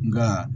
Nka